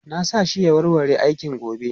Na sa shi ya warware aikin gobe.